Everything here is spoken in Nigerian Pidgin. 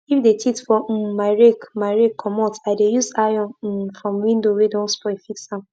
no use plastic protect to cover soil wey you wan use plant crop because e fit block air and make di soil surface too um hot